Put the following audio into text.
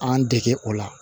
An dege o la